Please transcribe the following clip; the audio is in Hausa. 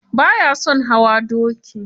Ba ya son hawa doki.